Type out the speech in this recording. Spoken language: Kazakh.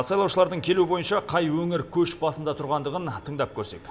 сайлаушылардың келуі бойынша қай өңір көш басында тұрғандығын тыңдап көрсек